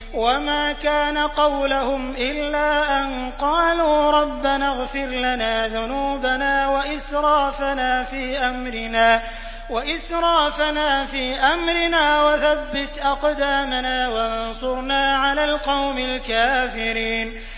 وَمَا كَانَ قَوْلَهُمْ إِلَّا أَن قَالُوا رَبَّنَا اغْفِرْ لَنَا ذُنُوبَنَا وَإِسْرَافَنَا فِي أَمْرِنَا وَثَبِّتْ أَقْدَامَنَا وَانصُرْنَا عَلَى الْقَوْمِ الْكَافِرِينَ